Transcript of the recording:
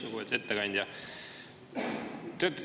Lugupeetud ettekandja!